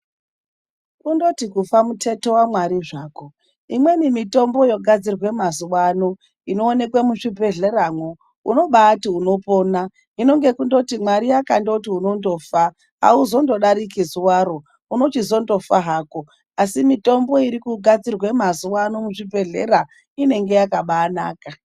Kundoti kufa mutheto waMwari zvako. Imweni mitombo yogadzirwe mazuvano, inowanikwe muzvibhedhleramwo unobati unopona, hino ngekundoti kana Mwari akandoti unondofa hauzondodariki zuvaro. Unochizondofa hako asi mitombo irikugadzirwe mazuvano muzvibhedhlera inenge yakabanaka.